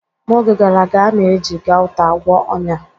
N'oge gara aga, a na-eji Gauta agwọ ọnya.